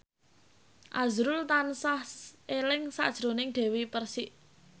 azrul tansah eling sakjroning Dewi Persik